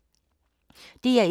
DR1